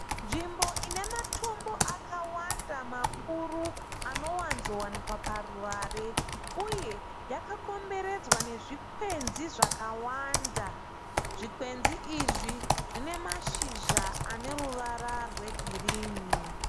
Nzvimbo ine matombo akawanda makuru anowanzowanikwa paruvare, uye yakakomberedzwa nezvikwenzi zvakawanda, zvikwenzi izvi zvine mashizha aneruva rwegirini.